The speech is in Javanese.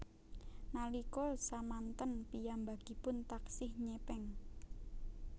Nalika samanten piyambakipun taksih nyepeng